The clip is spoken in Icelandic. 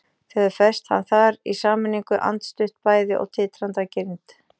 Þau höfðu fest hann þar í sameiningu, andstutt bæði og titrandi af girnd.